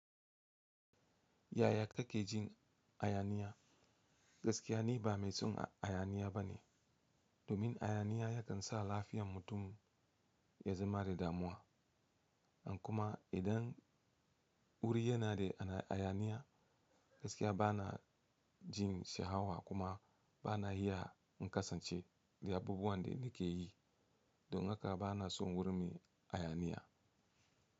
Yaya kake jin hayaniya? Gaskiya ni ba mai son hayaniya bane. Domin hayaniya yakan sa lafiyar mutum ya zama da damuwa. Kuma idan wuri yana da hayaniya, gaskiya bana jin sha'awa kuma bana iya kasancewa da abubuwan da nake yi. Domin hayaniya yakan sa lafiyar mutum ya zama da damuwa.